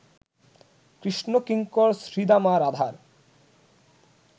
কৃষ্ণকিঙ্কর শ্রীদামা রাধার